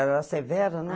Ela era severa, né?